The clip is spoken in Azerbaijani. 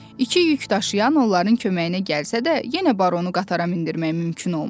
İki yük daşıyan onların köməyinə gəlsə də, yenə baronu qatara mindirmək mümkün olmadı.